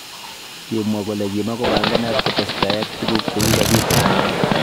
kimwa kole kimakombangat kotestai ak tukuk chekikabit eng let